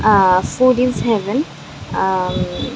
আ হ foodies heaven আ হম--